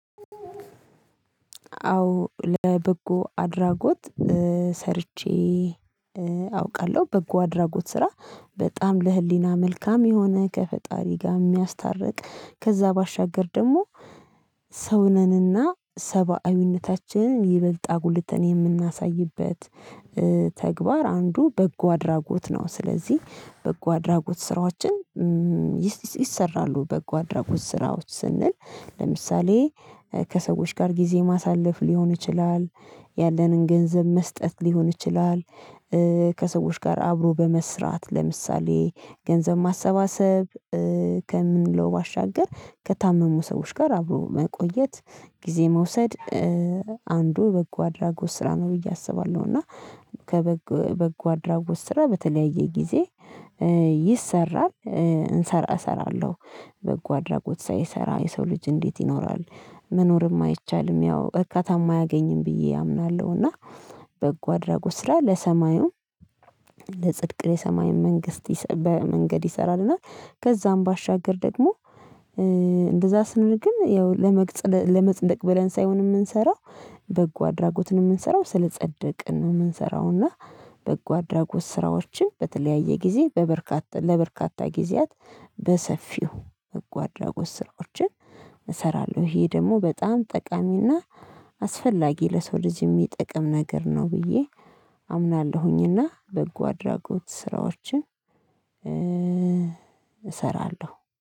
አዎ ለበጎ አድራጎት ሰርቼ አውቃለሁ። በጎ አድራጎት ስራ በጣም ለህሊና መልካም የሆነ ከፈጣሪ ጋር የሚያስታርቅ ከዛ ባሻገር ደግሞ ሰው ነን እና ሰብአዊነታችንን ይበልጥ አጉልተን የምናሳይበት ተግባር አንዱ በጎ አድራጎት ነው። ስለዚህ በጎ አድራጎት ስራዎችን ይሰራሉ በጎ አድራጎት ስራዎች ስንል ለምሳሌ ከሰዎች ጋር ጊዜ ማሳለፍ ሊሆን ይችላል ያለንን ገንዘብ መስጠት ሊሆን ይችላል። ከሰዎች ጋር አብሮ በመስራት ለምሳሌ ገንዘብ ማሰባሰብ ከምንለው ባሻገር ከታመሙ ሰዎች ጋር አብሮ መቆየት ጊዜ መውሰድ አንዱ በጎ አድራጎት ስራ ነው ብዬ አስባለሁ። እና ከበጎ በጎ አድራጎት ስራ በተለያየ ጊዜ ይሰራል። እንሰራ እሰራለሁ በጎ አድራጎት ሳይሰራ የሰው ልጅ እንዴት ይኖራል? መኖርም አይቻልም ያው እርካታማ አያገኝም ብዬ አምናለሁ። እና በጎ አድራጎት ስራ ለሰማዩም ለጽድቅ የሰማይን መንግስት በ መንገድ ይሰራልናል። እና ከዛም ባሻገር ደግሞ ስንረግም ያው ለመጽደቅ ብለን ሳይሆን የምንሰራው በጎ አድራጎትን የምንሰራው ስለጸደቅን ነው። የምንሰራውና በጎ አድራጎት ስራዎችን በተለያየ ጊዜ በበርካታ ለበርካታ ጊዜያት በሰፊው በጎ አድራጎት ስራዎችን እሰራለሁ። ይሄ ደግሞ በጣም ጠቃሚና አስፈላጊ ለሰው ልጅ የሚጠቅም ነገር ነው። ብዬ አምናለሁኝና በጎ አድራጎት ስራዎችን እሰራለሁ